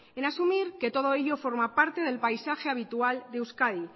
en asumir que todo ello forma parte del paisaje habitual de euskadi